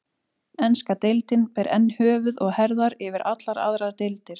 Enska deildin ber enn höfuð og herðar yfir allar aðrar deildir.